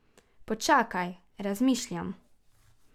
Počakaj, razmišljam.